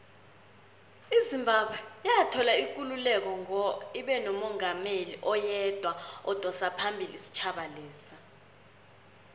izimbabwe soloyathola ikululeko ngo ibenomungameli oyedwa odosaphambili isitjhaba lesa